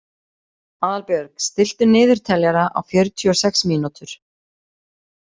Aðalbjörg, stilltu niðurteljara á fjörutíu og sex mínútur.